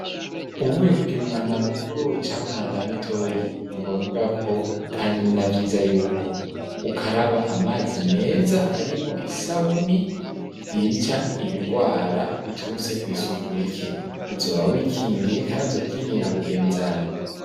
Uvuye kugira umwanda mukuru Canke mwanda mutoyi ni ngombwa ko kandi ni navyiza yuko ukaraba amazi meza arimo isabuni ryica ibigwara biturutse ku isuku rike uzoba wikingiye kandi zoba kingiye na mugenzawe.